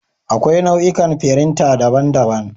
Akwai nau'ikan firinta daban-daban.